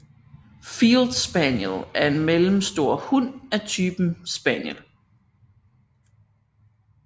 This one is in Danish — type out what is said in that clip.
Field Spaniel er en mellemstor hund af typen spaniel